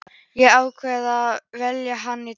Ég ákvað að velja þann dag.